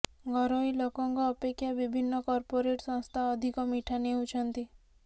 ଘରୋଇ ଲୋକଙ୍କ ଅପେକ୍ଷା ବିଭନ୍ନ କର୍ପୋରେଟ ସଂସ୍ଥା ଅଧିକ ମିଠା ନେଉଛନ୍ତି